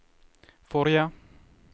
forrige